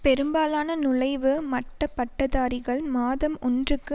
பெரும்பாலான நுழைவு மட்ட பட்டதாரிகள் மாதம் ஒன்றுக்கு